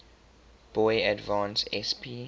boy advance sp